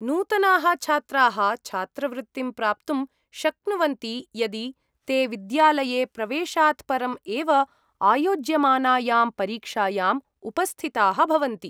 नूतनाः छात्राः छात्रवृत्तिं प्राप्तुं शक्नुवन्ति यदि ते विद्यालये प्रवेशात् परम् एव आयोज्यमानायां परीक्षायाम् उपस्थिताः भवन्ति।